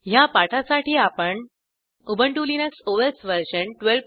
ह्या पाठासाठी आपण उबंटु लिनक्स ओएस वर्जन1204